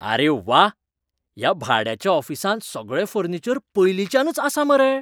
आरे व्वा! ह्या भाड्याच्या ऑफिसांत सगळें फर्निचर पयलींच्यानच आसा मरे!